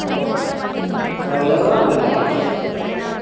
ஓ அவலோ தான் அது சாப்டும்